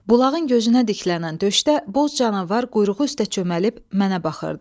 Bulağın gözünə diklənən döşdə boz canavar quyruğu üstə çöməlib mənə baxırdı.